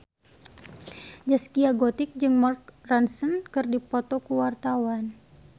Zaskia Gotik jeung Mark Ronson keur dipoto ku wartawan